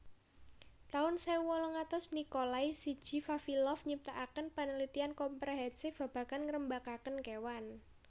taun sewu wolung atus Nikolai siji Vavilov nyiptaaken paneletian komprehensif babagan ngerembagaken kewan